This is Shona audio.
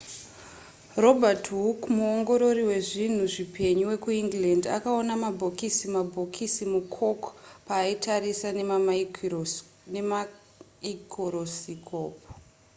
robert hooke muongorori wezvinhu zvipenyu wekuengland akaona mabhokisi mabhokisi mucork paaitarisa nemaikorosikopu